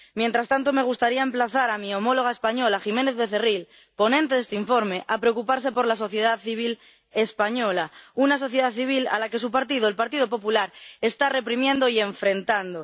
Mientras tanto, me gustaría emplazar a mi homóloga española Jiménez Becerril, ponente de este informe, a preocuparse por la sociedad civil española, una sociedad civil a la que su partido, el Partido Popular, está reprimiendo y enfrentando.